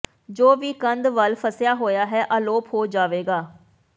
ਜੋ ਵੀ ਕੰਧ ਵੱਲ ਫਸਿਆ ਹੋਇਆ ਹੈ ਅਲੋਪ ਹੋ ਜਾਵੇਗਾ